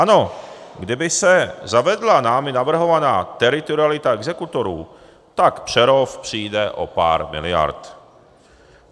Ano, kdyby se zavedla námi navrhovaná teritorialita exekutorů, tak Přerov přijde o pár miliard.